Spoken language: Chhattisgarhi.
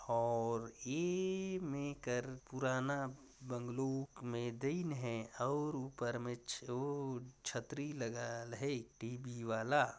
और ये मे कर पुराना बंगलु मैदान है और ऊपर मे ओ छतरी लगाएल हे टी बी वाला--